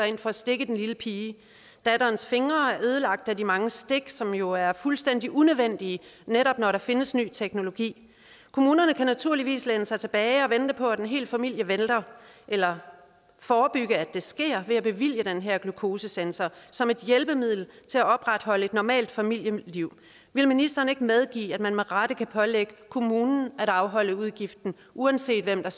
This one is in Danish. ind for at stikke i den lille pige datterens fingre er ødelagt af de mange stik som jo er fuldstændig unødvendige netop når der findes ny teknologi kommunen kan naturligvis læne sig tilbage og vente på at en hel familie vælter eller forebygge at det sker ved at bevilge den her glukosesensor som et hjælpemiddel til at opretholde et normalt familieliv vil ministeren ikke medgive at man med rette kan pålægge kommunen at afholde udgiften uanset hvem der